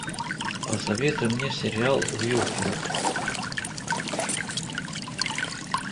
посоветуй мне сериал уилфред